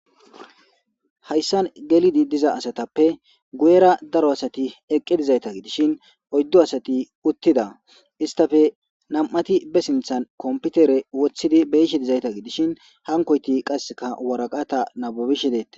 Hayssan gelidi diza asatappe guyera daro asati eqqe dizayta gidishin oyddo asati uttida istafe nam'ati be sinthan komputere wothidi beyishe dizayta gidishin hankoyti qasseka waraqata nabubishe deette